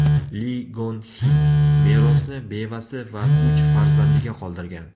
Li Gon Xi merosni bevasi va uch farzandiga qoldirgan.